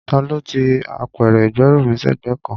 Ta ló ti apẹ̀rẹ̀ ìgbẹ́rù mí sẹ́gbẹ̀ẹ́ kan?